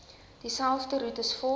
dieselfde roetes volg